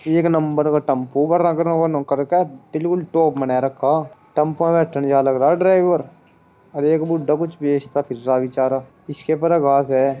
एक नबर का टेम्पो भर रखरऊ नो करके दिल उलटो बनाय रक्खा टेम्पो में चढ़ जा लग रा है ड्राइवर और एक बुड्डा कुछ बेचता फिर रहा है बिचारा जिसके ऊपर है।